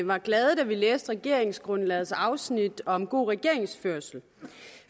var glade da vi læste regeringsgrundlagets afsnit om god regeringsførelse